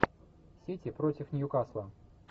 сити против ньюкасла